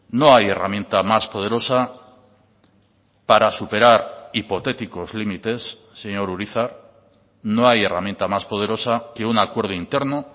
no hay herramienta más poderosa para superar hipotéticos límites señor urizar no hay herramienta más poderosa que un acuerdo interno